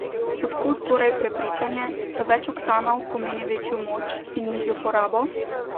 Od kod torej prepričanje, da več oktanov pomeni večjo moč in nižjo porabo?